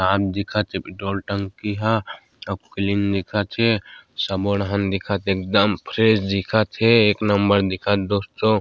साफ़ दिखत हे पेट्रोल टंकी ह और क्लीन दिखा थे सबो डहर दिखत हे एकदम फ्रेश दिखत हे एक नंबर दिखत हे दोस्तों--